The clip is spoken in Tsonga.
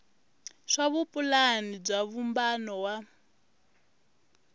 swa vupulani bya vumbano wa